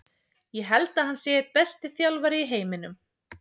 Ég held að hann sé einn besti þjálfari í heiminum.